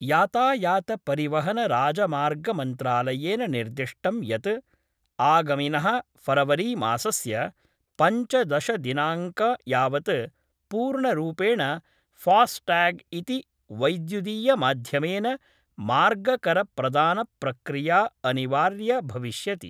यातायातपरिवहनराजमार्गमन्त्रालयेन निर्दिष्टम् यत् आगमिनः फरवरीमासस्य पञ्चदशदिनांक यावत् पूर्णरूपेण फास्टाग् इति वैद्युदीयमाध्यमेन मार्गकरप्रदानप्रक्रिया अनिवार्य भविष्यति।